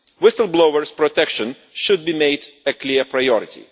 Whistle blower protection should be made a clear priority.